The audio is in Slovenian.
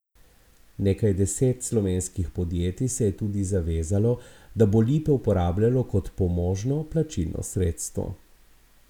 Nekaj deset slovenskih podjetij se je tudi zavezalo, da bo lipe uporabljalo kot pomožno plačilno sredstvo.